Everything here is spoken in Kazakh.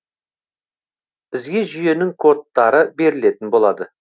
бізге жүйенің кодтары берілетін болады